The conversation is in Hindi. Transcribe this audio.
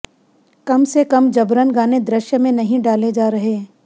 कम से कम जबरन गाने दृश्य में नहीं डाले जा रहे